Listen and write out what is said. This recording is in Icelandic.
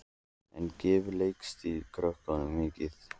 En gefur leiklistin krökkunum mikið?